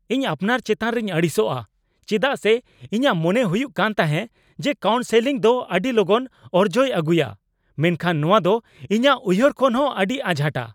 ᱤᱧ ᱟᱯᱱᱟᱨ ᱪᱮᱛᱟᱱ ᱨᱮᱧ ᱟᱹᱲᱤᱥᱚᱜᱼᱟ ᱪᱮᱫᱟᱜ ᱥᱮ ᱤᱧᱟᱹᱜ ᱢᱚᱱᱮ ᱦᱩᱭᱩᱜ ᱠᱟᱱ ᱛᱟᱸᱦᱮ ᱡᱮ ᱠᱟᱣᱩᱱᱥᱮᱞᱤᱝ ᱫᱚ ᱟᱹᱰᱤ ᱞᱚᱜᱚᱱ ᱚᱨᱡᱚᱭ ᱟᱹᱜᱩᱭᱟ, ᱢᱮᱱᱠᱷᱟᱱ ᱱᱚᱣᱟ ᱫᱚ ᱤᱧᱟᱹᱜ ᱩᱭᱦᱟᱹᱨ ᱠᱷᱚᱱ ᱦᱚᱸ ᱟᱹᱰᱤ ᱟᱡᱷᱟᱴᱟ ᱾